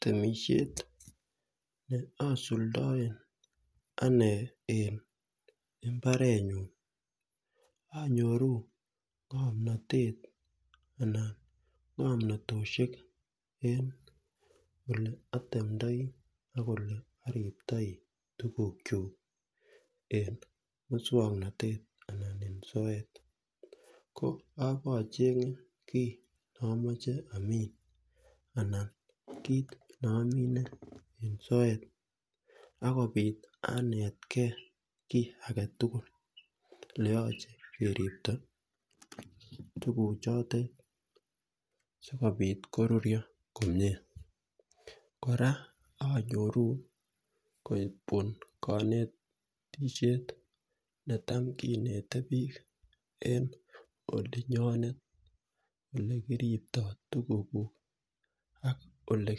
Temishet neosuldoen anee en mbarenyun anyoru ngomnotet anan ngomnotoshek en ole atemndoi ak ole oriptoi tugukyuk en muswoknotet anan en soet ko abochengee kit neomoche amin anan kit noomine en soet akobit anetkee kii agetugul ele yoche keribto tuguchotet sikopit korurio komie kora anyoru koetwon konetishet netam kinete biik en olinyonet elekiripto tuguguk ak ole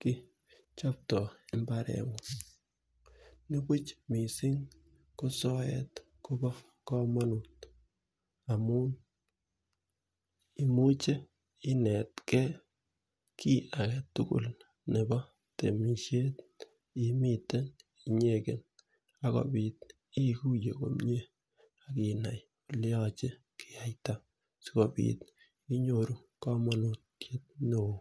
kichopto mbarengung nipuch mising ko soet Kobo komonut amun imuche inetkee kii agetugul nepo temishet yeimiten nyeken akopit ikuye komie akinai ole yoche keyaita sikopit inyoru komonutiet neoo